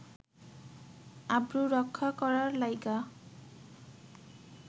আব্রু রক্ষা করার লাইগ্যা